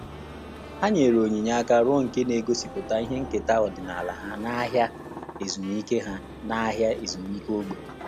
Há nyèrè onyinye áká rụọ nke nà-égósípụ́ta ihe nkèta ọ́dị́nála ha n’áhị́à ezumike ha n’áhị́à ezumike ógbè.